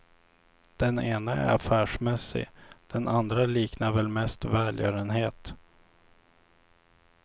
Den ena är affärsmässig, den andra liknar väl mest välgörenhet.